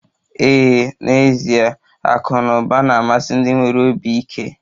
Ee, n'ezie akụ na ụba na-amasị ndị nwere obi ike